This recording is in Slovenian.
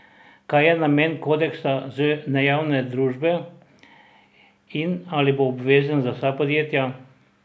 Kaj je namen kodeksa z nejavne družbe in ali bo obvezen za vsa podjetja?